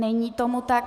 Není tomu tak.